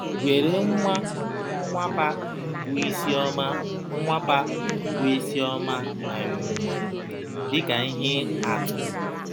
Were nwa Nwapa bụ Isioma Nwapa bụ Isioma um dị ka ihe atụ.